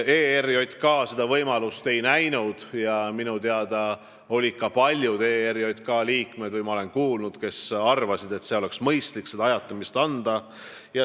ERJK seda võimalust ei näinud, kuigi minu teada olid ka paljud ERJK liikmed arvamusel, et oleks mõistlik seda ajatamist võimaldada.